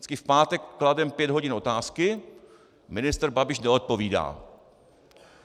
Vždycky v pátek klademe pět hodin otázky, ministr Babiš neodpovídá.